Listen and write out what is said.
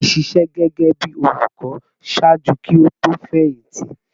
Taofiq ṣiṣẹ gẹgẹbi olukọ ṣaaju ki o to fẹyìntì